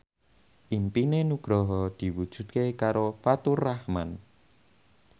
impine Nugroho diwujudke karo Faturrahman